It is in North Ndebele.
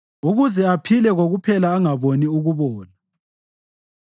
ukuze aphile kokuphela angaboni ukubola.